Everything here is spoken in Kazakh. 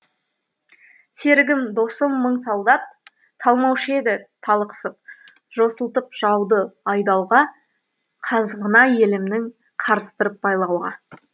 серігім досым мың солдат талмаушы еді талықсып жосылтып жауды айдауға қазығына елімнің қарыстырып байлауға